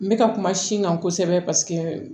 N bɛ ka kuma sin kan kosɛbɛ paseke